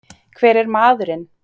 Hver er maðurinn?